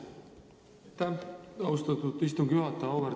Aitäh, austatud istungi juhataja!